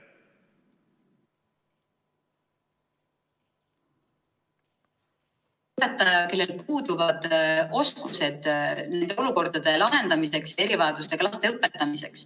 ... õpetaja, kellel puuduvad oskused nende olukordade lahendamiseks ja erivajadustega laste õpetamiseks.